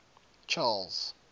charles